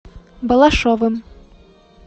балашовым